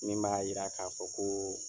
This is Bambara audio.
Min b'a yira ka fɔ ko